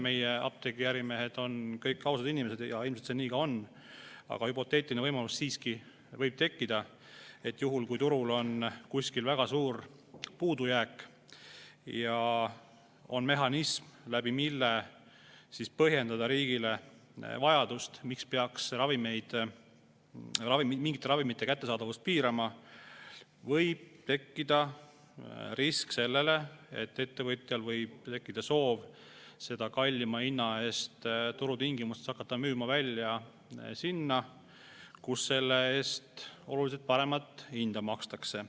Me eeldame, et meie apteegiärimehed on kõik ausad inimesed, ja ilmselt see nii ka on, aga siiski võib tekkida hüpoteetiline võimalus, et juhul, kui turul on kuskil väga suur puudujääk ja meil on mehhanism, mille abil saab riigis teatud põhjuse korral mingite ravimite kättesaadavust piirata, siis võib tekkida risk, et ettevõtjal tekib soov hakata neid ravimeid turutingimustes kallima hinna eest müüma välja sinna, kus nende eest oluliselt paremat hinda makstakse.